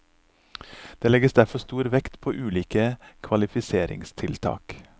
Det legges derfor stor vekt på ulike kvalifiseringstiltak.